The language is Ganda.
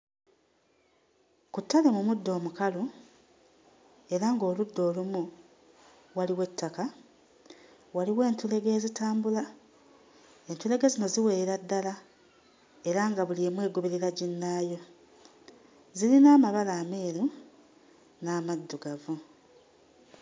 Ku ttale mu muddo omukalu era ng'oludda olumu waliwo ettaka, waliwo entulege ezitambula. Entulege zino ziwerera ddala era nga buli emu egoberera ginnaayo. Zirina amabala ameeru n'amaddugavu.